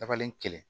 Dabalen kelen